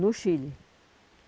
No Chile.